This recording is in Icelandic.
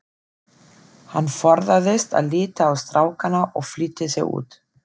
Hann forðaðist að líta á strákana og flýtti sér út.